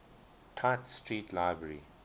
tite street library